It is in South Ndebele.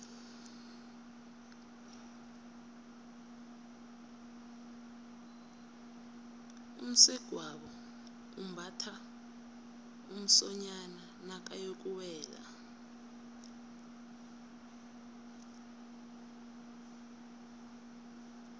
umsegwabo umbatha umsonyani nakayokuwela